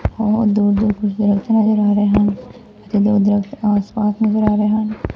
ਔਰ ਦੋ ਦੋ ਦਰਖਤ ਨਜ਼ਰ ਆ ਰਹੇ ਹਨ ਤੇ ਦੋ ਦਰੱਖਤ ਆਸ ਪਾਸ ਨਜ਼ਰ ਆ ਰਹੇ ਹਨ।